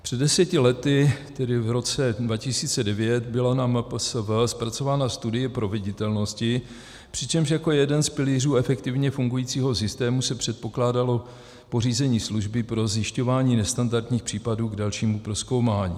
Před deseti lety, tedy v roce 2009, byla na MPSV zpracována studie proveditelnosti, přičemž jako jeden z pilířů efektivně fungujícího systému se předpokládalo pořízení služby pro zjišťování nestandardních případů k dalšímu prozkoumání.